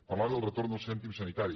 parlava del retorn del cèntim sanitari